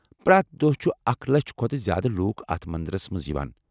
پرٛٮ۪تھ دۄہہ چھِ اکھ لچھٕ کھۄتہٕ زیٛادٕ لوٗکھ اتھ مندرس منٛز یوان۔